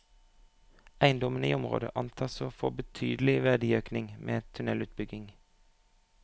Eiendommene i området antas å få betydelig verdiøkning ved en tunnelutbygging.